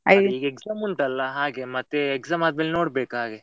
Exam ಉಂಟಲ್ಲ ಹಾಗೆ ಮತ್ತೆ exam ಆದ್ಮೇಲೆ ನೋಡ್ಬೇಕು ಹಾಗೆ.